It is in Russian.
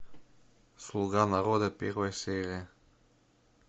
слуга народа первая серия